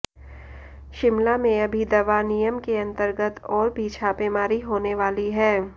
शिमला में अभी दवा नियम के अतंर्गत और भी छापेमारी होने वाली है